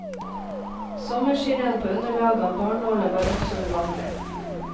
Sommerskirenn på underlag av barnåler var også uvanlig.